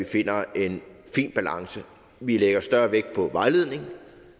finder en fin balance vi lægger større vægt på vejledning